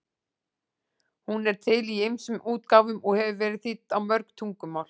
Hún er til í ýmsum útgáfum og hefur verið þýdd á mörg tungumál.